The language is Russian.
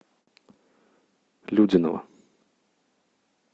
людиново